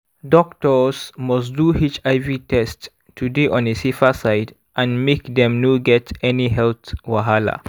doctors must do hiv test to dey on a safer side and make dem no get any health wahala